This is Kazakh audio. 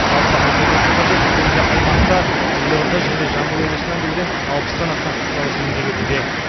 жалпы айта кету қажет бүгінде аймақта елорда және жамбыл облысынан келген алпыстан астам құтқарушы еңбек етуде